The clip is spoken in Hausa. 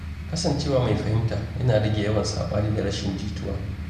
Kasancewa mai fahimta yana rage yawan saɓani da rashin jituwa.